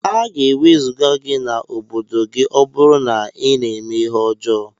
Aga ewezuga gi na obodo gi ọburu na ina eme ihe ọjọ.